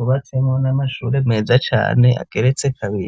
ubatsemo n'amashuri meza cane ageretse kabire.